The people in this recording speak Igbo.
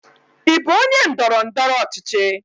Ị bụ onye ndọrọ ndọrọ ọchịchị?